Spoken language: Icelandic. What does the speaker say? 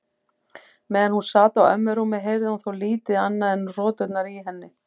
Meðan hún sat á ömmu rúmi heyrði hún þó lítið annað en hroturnar í henni.